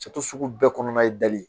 Sato sugu bɛɛ kɔnɔna ye dali ye.